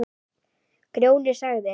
Grjóni sagði